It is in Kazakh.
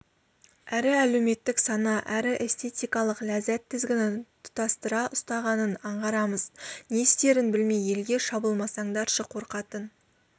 әрі әлеуметтік сана әрі эстетикалық ләззат тізгінін тұтастыра ұстағанын аңғарамыз не істерін білмей елге шабылмасаңдаршы қорқатын